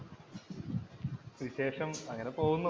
വിശേഷം അങ്ങനെ പോകുന്നു.